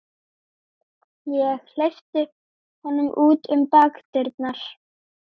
Ég hleypti honum út um bakdyrnar.